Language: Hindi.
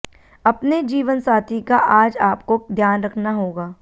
अपने जीवनसाथी का आज आपको ध्यान रखना होगा